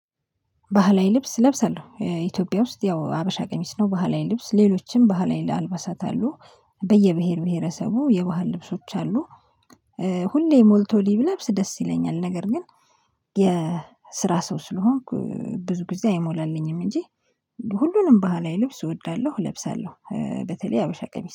ባህላዊ ልብስ እለብሳለሁ ኢትዮጵያ ውስጥ ያው ሀበሻ ቀሚስ ነው ባህላዊ ልብስ ሌሎችም ባህላዊ ለአልባሳት አሉ በየብሄር ብሄረሰቡ የባህል ልብሶች አሉ። ሁሌ ሞልቶ ሊብ ለብስ ደስ ይለኛል። ነገር ግን የስራ ሰው ስለሆንኩ ብዙ ጊዜ አይሞላልኝም። እንጂ ሁሉንም ባህላዊ ልብስ እወዳለሁ እለብሳለሁ በተለይ ሀበሻ ቀሚስ